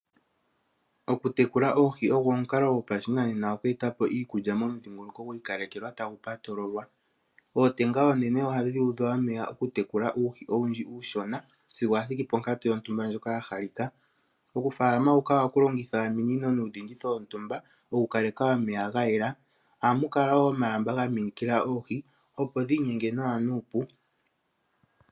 Okutekula oohi ogo omukalo gopashinanena oku etapo iikulya momudhingoloko gwiikalekelwa tagu patululwa. Ootenga oonene ohadhi udhwa omeya okutekula uuhi owundji uushona sigo wathiki ponkatu yontumba ndjoka ya halika. Okufaalama huka oha ku longitha ominino nuudhingi dhontumba oku kaleka omeya gayela. Oha mu kala wo omalamba ga minikila oohi opo dhiinyenge nawa nuupu.